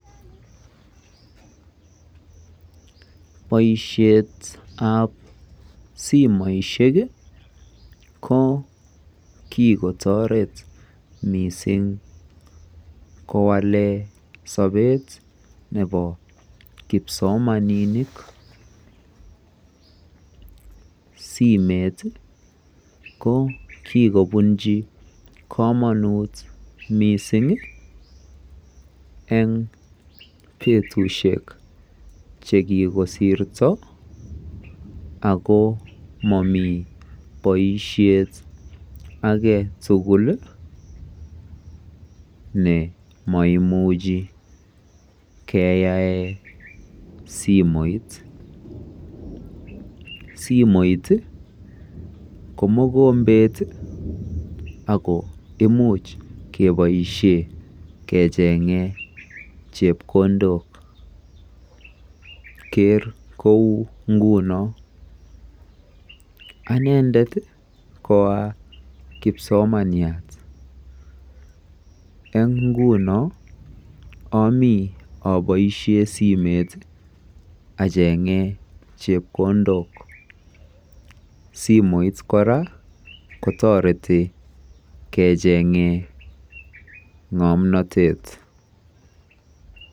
Boishetab simoishek kii ko kikotoret missing. Kowole sobet nebo kipsomaninik, simeit ko kikobunchi komonut missing en betushek chekikosirto ako momii boishet agetukul ne moimuchi keyaen simoit. Simoit ko mokombet ako imuch keboishen kechenge chepkondok. Ker kou nguno anendet ko akipsomaniat en ingunon omii iboishen simoit achenge chepkondok. Simoit Koraa kotoreti kechenge ngomnotet.